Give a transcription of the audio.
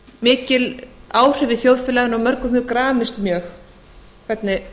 mikil áhrif í þjóðfélaginu og mörgum hefur gramist mjög hvernig